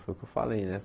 Foi o que eu falei, né?